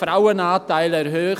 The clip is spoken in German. Frauenanteil erhöhen.